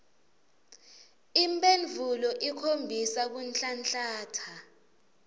imphendvulo ikhombisa kunhlanhlatsa